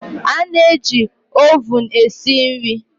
A na-eji ovun esi nri